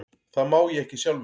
Það má ég ekki sjálfur.